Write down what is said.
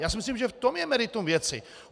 Já si myslím, že v tom je meritum věci.